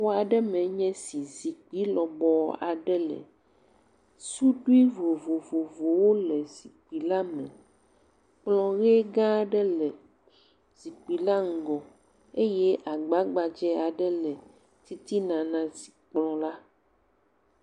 Xɔ aɖe me nye esi, zikpui lɔbɔɔ aɖe le, suɖui vovovovowo le zikpui la me, kplɔ ʋe gã aɖe le zikpui la ŋgɔ eye agba gbadze aɖe le titina na zi…kplɔ la.